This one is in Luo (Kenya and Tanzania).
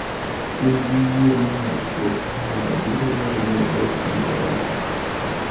In gi yie ni nyar ruoth Haya biro dwaro ni odong ingereza.